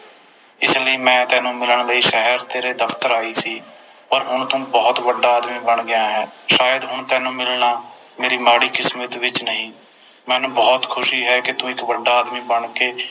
ਇਸ ਲਈ ਮੈਂ ਤੈਨੂੰ ਮਿਲਣ ਲਈ ਸ਼ਹਿਰ ਤੇਰੇ ਦਫਤਰ ਆਈ ਸੀ ਪਰ ਹੁਣ ਤੂੰ ਬੋਹੋਤ ਵੱਡਾ ਆਦਮੀ ਬਣ ਗਿਆ ਹੈ ਸ਼ਾਇਦ ਹੁਣ ਤੈਨੂੰ ਮਿਲਣਾ ਮੇਰੀ ਮਾੜੀ ਕਿਸਮਤ ਵਿਚ ਨਹੀਂ ਮੈਨੂੰ ਬੋਹਤ ਖੁਸ਼ੀ ਹੈ ਕੇ ਤੂੰ ਇਕ ਵੱਡਾ ਆਦਮੀ ਬਣ ਕੇ